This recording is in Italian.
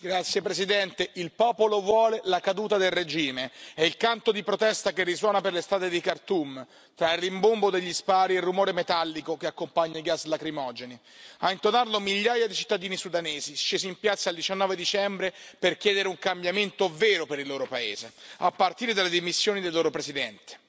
Signor Presidente, onorevoli colleghi, il popolo vuole la caduta del regime, è il canto di protesta che risuona per le strade di Khartoum, tra il rimbombo degli spari e il rumore metallico che accompagnano i gas lacrimogeni. A intonarlo migliaia di cittadini sudanesi, scesi in piazza il 19 dicembre per chiedere un cambiamento vero per il loro paese, a partire dalle dimissioni del loro presidente.